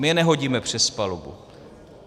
My je nehodíme přes palubu.